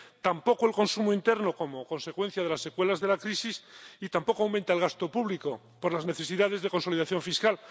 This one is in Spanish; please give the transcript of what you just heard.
tampoco el consumo interno, como consecuencia de las secuelas de la crisis, y tampoco aumenta el gasto público por las necesidades de consolidación fiscal.